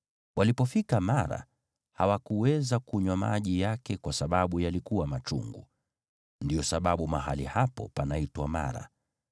Walipofika Mara, hawakuweza kunywa maji yake kwa sababu yalikuwa machungu. (Ndiyo sababu mahali hapo panaitwa Mara )